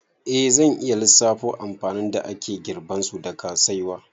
Eh, zan iya lissafo amfanin da ake girbansu daga saiwa